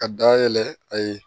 Ka dayɛlɛ a ye